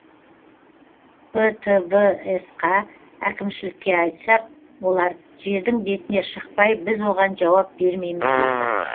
птвс қа әкімшілікке айтсақ олар жердің бетіне шықпай біз оған жауап бермейміз дейді